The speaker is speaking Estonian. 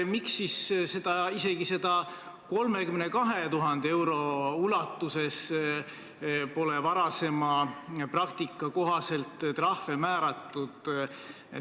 Miks siis isegi 32 000 euro ulatuses pole varasema praktika kohaselt trahve määratud?